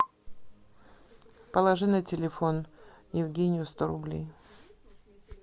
положи на телефон евгению сто рублей